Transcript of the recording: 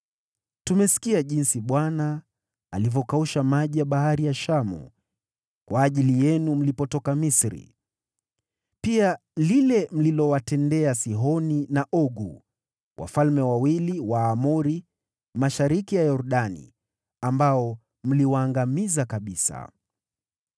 Tumesikia jinsi Bwana alivyokausha maji ya Bahari ya Shamu kwa ajili yenu mlipotoka Misri, pia lile mlilowatendea Sihoni na Ogu, wafalme wawili wa Waamori mashariki mwa Yordani, ambao mliwaangamiza kabisa.